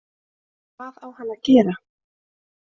Hvað á hann að gera